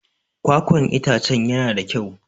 Kwakwan itacen yana da kyau.